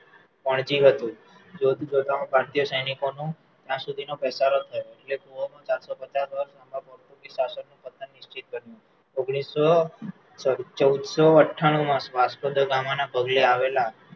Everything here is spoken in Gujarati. પણજી હતું જોત જોતા માં ભારતીય સેનિકો નું ત્યાંસુધી નો ઘસારો થયો એટલે ગોઆ માં ચારસો પચાસ વર્ષ પોર્ટુગીઝ પતન નિશ્ચિત હતું ઓગણીસો ચૌદસો અઠાણુંમાં વાસ્કો દ ગામના પગલે આવેલા